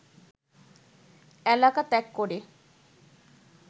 এলাকা ত্যাগ করে